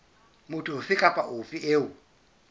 motho ofe kapa ofe eo